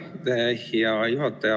Aitäh, hea juhataja!